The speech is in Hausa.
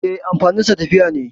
E, amfaninsa tafiya ne.